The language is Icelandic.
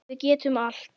Við getum allt.